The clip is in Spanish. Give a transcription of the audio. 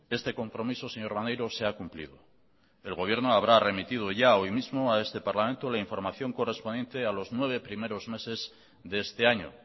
este compromiso señor maneiro se ha cumplido el gobierno habrá remitido ya hoy mismo a este parlamento la información correspondiente a los nueve primeros meses de este año